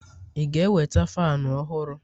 ị ga-eweta fanu ọhụrụ?